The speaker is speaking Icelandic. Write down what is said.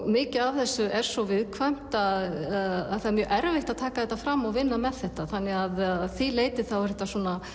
mikið af þessu er svo viðkvæmt að það er mjög erfitt að taka þetta fram og vinna með þetta þannig að því leyti er þetta